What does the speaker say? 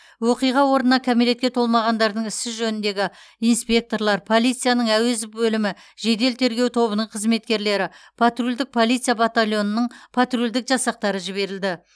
оқиға орнына кәмелетке толмағандардың ісі жөніндегі инспекторлар полицияның әуезов бөлімі жедел тергеу тобының қызметкерлері патрульдік полиция батальонының патрульдік жасақтары жіберілді